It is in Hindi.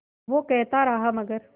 वो कहता रहा मगर